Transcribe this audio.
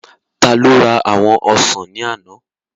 Taló ra àwọn ọsàn ní àná?